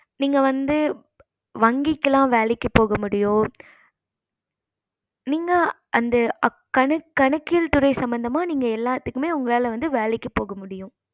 நீங்க வந்து வங்கிக்குலாம் வேளைக்கு போக முடியும் நீங்க அந்த கணக் கணக்கியல் துறை சம்பந்தமா நீங்க எல்லாத்துக்குமே உங்களால வேலைக்கு போக முடியும்